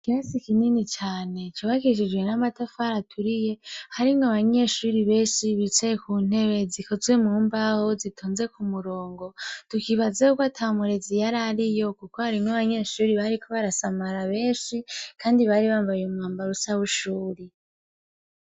Ikirasi kinini cane cubakishijwe n'amatafari aturiye, harimwo abanyeshure benshi bicaye ku ntebe zikozwe mu mbaho zitonze kumurongo. Tukibaza y'uko ata murezi yari ariyo kuko harimwo abanyeshure bariko barasamara benshi kandi bari bambaye umwambaro usa w'ishure.